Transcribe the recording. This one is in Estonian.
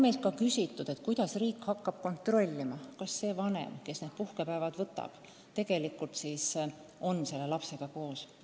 Meilt on ka küsitud, kuidas riik hakkab kontrollima, kas see vanem, kes need puhkepäevad võtab, tegelikult ikka on lapsega koos.